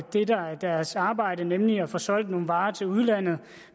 det der er deres arbejde nemlig at få solgt nogle varer til udlandet